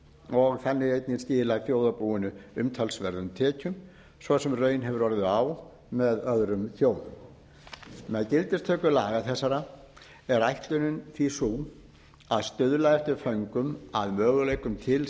og þannig einnig skilað þjóðarbúinu umtalsverðum tekjum svo sem raun hefur orðið á með öðrum þjóðum með gildistöku laga þessara er ætlunin því sú að stuðla eftir föngum að möguleikum til